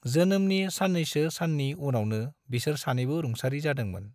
जोनोमनि सान्नैसो सान्नि उनावनो बिसोर सानैबो रुंसारि जादोंमोन।